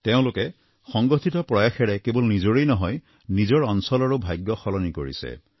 তেওঁলোকে সংগঠিত প্ৰয়াসেৰে কেৱল নিজৰেই নহয় নিজৰ অঞ্চলৰো ভাগ্য সলনি কৰিছে